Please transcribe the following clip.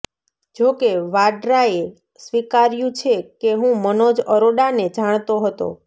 જોકે વાડ્રાએ સ્વીકાર્યુ છે કે હું મનોજ અરોડાને જાણતો હતો